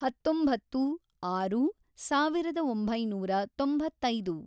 ಹತ್ತೊಂಬತ್ತು, ಆರು, ಸಾವಿರದ ಒಂಬೈನೂರ ತೊಂಬತ್ತೈದು